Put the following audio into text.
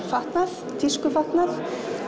fatnað tískufatnað